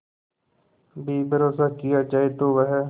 भी भरोसा किया जाए तो वह